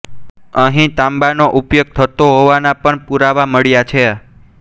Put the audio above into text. અહીં તાંબાનો ઉપયોગ થતો હોવાના પણ પૂરાવા મળ્યા છે